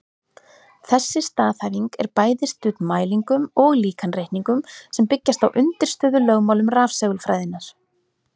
Þessi staðhæfing er bæði studd mælingum og líkanreikningum sem byggjast á undirstöðulögmálum rafsegulfræðinnar.